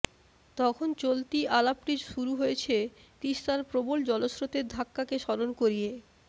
তখন চলতি আলাপটি শুরু হয়েছে তিস্তার প্রবল জলস্রোতের ধাক্কাকে স্মরণ করিয়ে